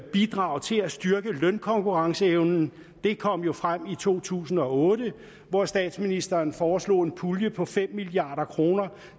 bidrag til at styrke lønkonkurrenceevnen kom jo frem i to tusind og otte hvor statsministeren foreslog en pulje på fem milliard kroner